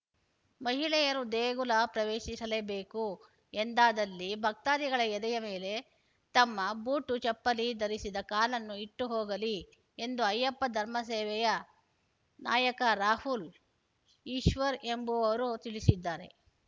ಮಹಿಳೆಯರು ದೇಗುಲ ಪ್ರವೇಶಿಸಲೇಬೇಕು ಎಂದಾದಲ್ಲಿ ಭಕ್ತಾದಿಗಳ ಎದೆಯ ಮೇಲೆ ತಮ್ಮ ಬೂಟು ಚಪ್ಪಲಿ ಧರಿಸಿದ ಕಾಲನ್ನು ಇಟ್ಟು ಹೋಗಲಿ ಎಂದು ಅಯ್ಯಪ್ಪ ಧರ್ಮಸೇವೆಯ ನಾಯಕ ರಾಹುಲ್‌ ಈಶ್ವರ್‌ ಎಂಬುವವರು ತಿಳಿಸಿದ್ದಾರೆ